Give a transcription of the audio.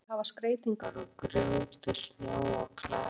Hvers vegna ekki frekar að hafa skreytingar úr grjóti, snjó og klaka?